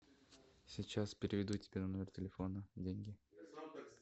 сейчас переведу тебе на номер телефона деньги